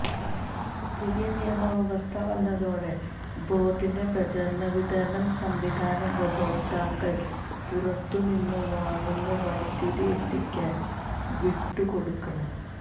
പുതിയ നിയമ വ്യവസ്ഥ വന്നതോടെ ബോര്ഡിന്റെ പ്രസരണവിതരണ സംവിധാനം ഉപഭോക്താക്കള് പുറത്തുനിന്ന് വാങ്ങുന്ന വൈദ്യുതി എത്തിക്കാന് വിട്ടു കൊടുക്കണം